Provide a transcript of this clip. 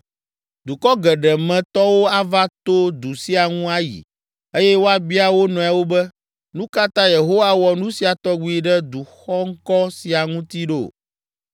“Dukɔ geɖe me tɔwo ava to du sia ŋu ayi eye woabia wo nɔewo be, ‘Nu ka ta Yehowa wɔ nu sia tɔgbi ɖe du xɔŋkɔ sia ŋuti ɖo?’